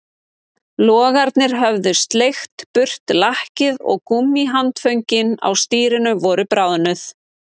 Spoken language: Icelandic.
Logarnir höfðu sleikt burt lakkið og gúmmíhandföngin á stýrinu voru bráðnuð